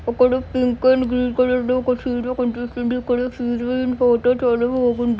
ఒకడు pink and green colour లో ఒక చీరలు కొనిస్తుండు ఇక్కడ చీరలున్న ఫోటో చాలా బాగుంది.